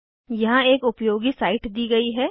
यहाँ एक उपयोगी साइट दी गयी है